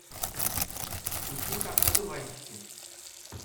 ищи как одуванчики